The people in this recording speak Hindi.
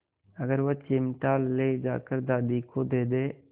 अगर वह चिमटा ले जाकर दादी को दे दे